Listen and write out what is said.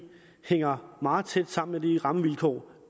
hænger meget tæt sammen med de rammevilkår